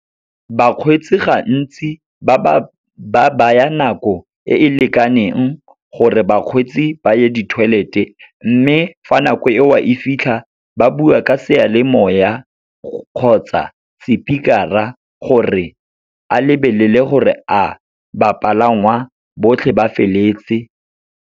Bakgweetsi gantsi ba baya nako e e lekaneng gore bakgweetsi ba ye di-toilet-e, mme fa nako eo a e fitlha, ba bua ka seyalemoya kgotsa sepikara gore a lebelele gore a bapalangwa botlhe ba feleletse.